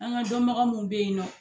An ka dɔnbagaw min bɛ yen nɔ